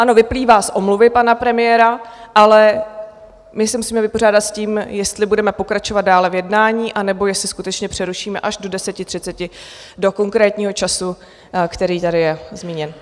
Ano, vyplývá z omluvy pana premiéra, ale my se musíme vypořádat s tím, jestli budeme pokračovat dále v jednání, anebo jestli skutečně přerušíme až do 10.30, do konkrétního času, který tady je zmíněn.